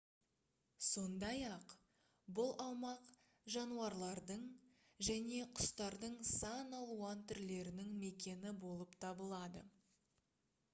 сондай-ақ бұл аумақ жануарлардың және құстардың сан алуан түрлерінің мекені болып табылады